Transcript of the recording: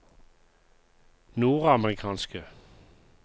nordamerikanske